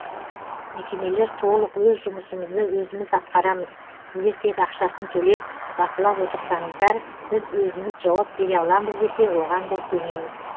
мекемелер толық өз жұмысымызды өзіміз атқарамыз сіздер тек ақшасын төлеп бақылап отырсаңыздар біз өзіміз жауап бере аламыз десе оған да көнеміз